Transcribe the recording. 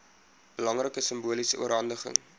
belangrike simboliese oorhandiging